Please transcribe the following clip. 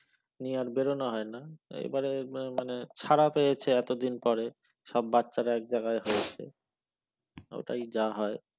নিয়ে আর বেরোনো হয়না এইবারে মানে ছাড়া পেয়েছে এতদিন পরে সব বাচ্চারা এক জায়গায় হয়েছে ওইটাই যা হয়